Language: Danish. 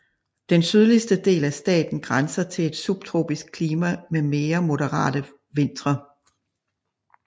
Den sydligste del af staten grænser til et subtropisk klima med mere moderate vintre